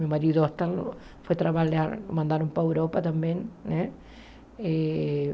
Meu marido foi trabalhar, mandaram para a Europa também, né? Eh